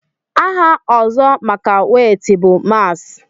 aha ọzọ maka wéétị bụ mààs